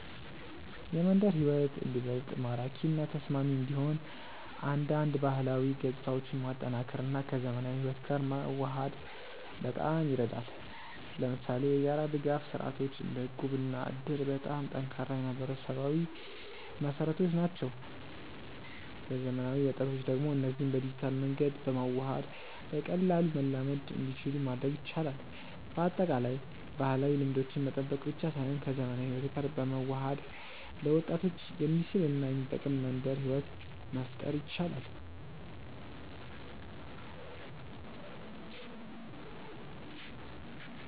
የመንደር ሕይወት እንዲበልጥ ማራኪ እና ተስማሚ እንዲሆን አንዳንድ ባህላዊ ገጽታዎችን ማጠናከር እና ከዘመናዊ ሕይወት ጋር መዋሃድ በጣም ይረዳል። ለምሳሌ የጋራ ድጋፍ ስርዓቶች እንደ እቁብ እና እድር በጣም ጠንካራ የማህበራዊ መሰረቶች ናቸው። ለዘመናዊ ወጣቶች ደግሞ እነዚህን በዲጂታል መንገድ በማዋሃድ በቀላሉ መላመድ እንዲችሉ ማድረግ ይቻላል። በአጠቃላይ፣ ባህላዊ ልምዶችን መጠበቅ ብቻ ሳይሆን ከዘመናዊ ሕይወት ጋር በመዋሃድ ለወጣቶች የሚስብ እና የሚጠቅም መንደር ሕይወት መፍጠር ይቻላል።